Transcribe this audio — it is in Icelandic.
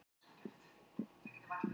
Það er allt í rúst þar.